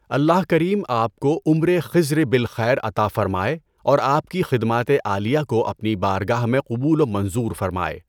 اللہ کریم آپ کو عمرِ خضر بِالْخیر عطا فرماٸے اور آپ کی خدماتِ عالیہ کو اپنی بارگاہ میں قبول و منظور فرماٸے۔